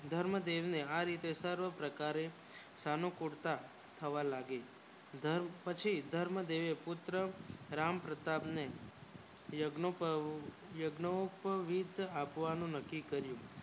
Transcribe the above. ધર્મ દેવી એ આરીતે સર્વ પ્રકારે સાનુકૂળતા થવા લાગીપછી ધર્મ દેવી એપુત્ર રામ પ્રતાપ ને યજ્ઞ આપવાનું નકી કર્યું